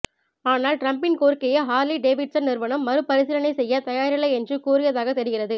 ஆனால் டிரம்ப்பின் கோரிக்கையை ஹார்லி டேவிட்சன் நிறுவனம் மறுபரிசீலனை செய்ய தயாரில்லை என்று கூறியதாக தெரிகிறது